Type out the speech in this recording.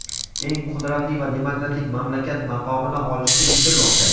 eng qudratli va demokratik mamlakat maqomini olishga intilmoqda.